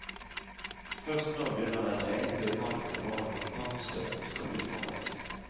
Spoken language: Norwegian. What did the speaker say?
Først nå begynner den egentlige kampen om hvordan kontantstøtten skal utformes.